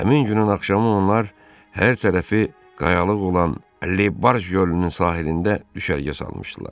Həmin günün axşamı onlar hər tərəfi qayalıq olan Le Barj gölünün sahilində düşərgə salmışdılar.